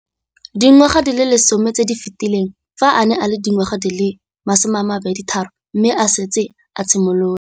Dingwaga di le 10 tse di fetileng, fa a ne a le dingwaga di le 23 mme a setse a itshimoletse